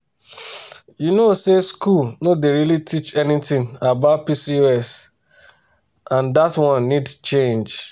you know say school no dey really teach anything about pcos and that one need change.